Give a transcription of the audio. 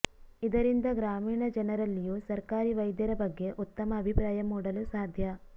ಇದರಿಂದ ಗ್ರಾಮೀಣ ಜನರಲ್ಲಿಯೂ ಸರ್ಕಾರಿ ವೈದ್ಯರ ಬಗ್ಗೆ ಉತ್ತಮ ಅಭಿಪ್ರಾಯ ಮೂಡಲು ಸಾಧ್ಯ